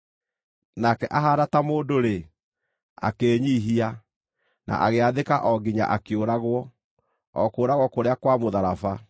Nake ahaana ta mũndũ-rĩ, akĩĩnyiihia, na agĩathĩka o nginya akĩũragwo, o kũũragwo kũrĩa kwa mũtharaba!